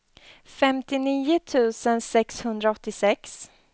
femtionio tusen sexhundraåttiosex